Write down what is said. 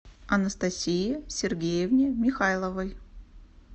анастасии сергеевне михайловой